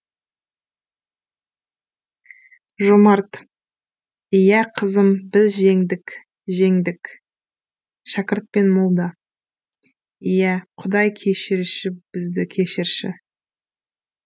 жомарт иә қызым біз жеңдік жеңдік шәкірт пен молда иә құдай кешірші бізді кешірші